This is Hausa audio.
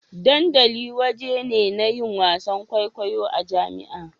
Dandali wajen ne na yin wasa kwaikwayo a jami'a.